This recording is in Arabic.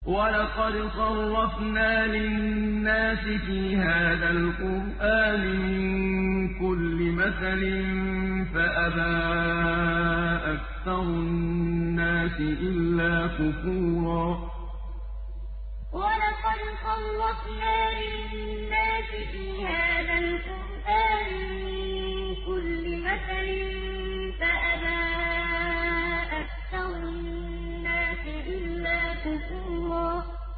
وَلَقَدْ صَرَّفْنَا لِلنَّاسِ فِي هَٰذَا الْقُرْآنِ مِن كُلِّ مَثَلٍ فَأَبَىٰ أَكْثَرُ النَّاسِ إِلَّا كُفُورًا وَلَقَدْ صَرَّفْنَا لِلنَّاسِ فِي هَٰذَا الْقُرْآنِ مِن كُلِّ مَثَلٍ فَأَبَىٰ أَكْثَرُ النَّاسِ إِلَّا كُفُورًا